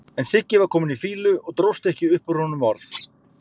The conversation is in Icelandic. En Siggi var kominn í fýlu og dróst ekki upp úr honum orð.